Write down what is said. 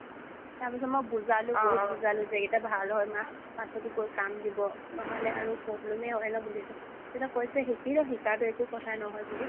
তাৰপিছত মই বুজালো বহুত বুজালো যে এইকেইটা ভাল হয় মা পাছত এইবোৰ কাম দিব নহ'লে আৰু problem হয় বুলি এইটো তেতিয়া কৈছে শিকি লও শিকাটো একো কথা নহয় বুলি